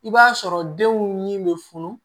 I b'a sɔrɔ denw ni bɛ funu